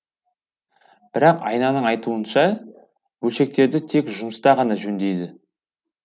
бірақ айнаның айтуынша бөлшектерді тек жұмыста ғана жөндейді